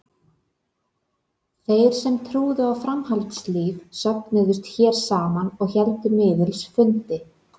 Þeir sem trúðu á framhaldslíf söfnuðust hér saman og héldu miðils fundi.